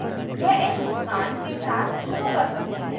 यह एक मुस्कान के साथ शुरू कर सकते हैं